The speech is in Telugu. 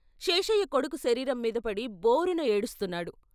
శేషయ్య కొడుకు శరీరం మీదపడి బోరున ఏడుస్తున్నాడు.